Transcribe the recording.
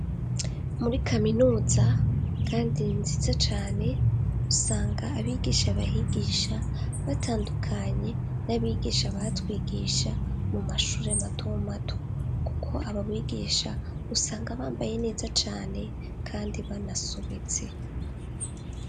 Muri kaminuza kandi nziza cane, usanga abigisha bahigisha batandukanye n'abigisha batwigisha mu mashure matomato, kuko aba bigisha usanga bambaye neza cane kandi banasobetse.